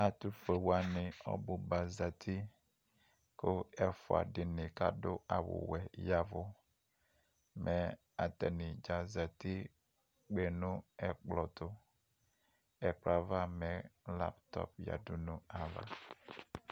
ɛtʋƒʋɛ wani ɔbʋ ba zati kʋ ɛƒʋa dini kʋ adʋ awʋ wɛ yavʋ mɛ atani dza azati kpènʋ ɛkplɔ tʋ, ɛkplɔɛ aɣa mɛ laptop yadʋ nʋ aɣa